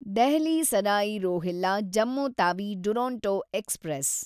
Delhi Sarai Rohilla Jammu Tawi Duronto express